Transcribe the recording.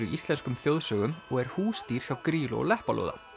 í íslenskum þjóðsögum og er húsdýr hjá Grýlu og Leppalúða